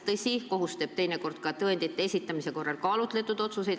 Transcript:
Tõsi, kohus teeb teinekord tõendite esitamise korral kaalutletud otsuseid.